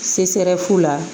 la